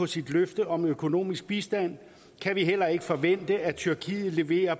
sit løfte om økonomisk bistand kan vi heller ikke forvente at tyrkiet lever